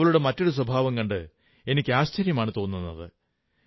എന്നാൽ അവളുടെ മറ്റൊരു സ്വഭാവം കണ്ട് എനിക്ക് ആശ്ചര്യമാണു തോന്നുന്നത്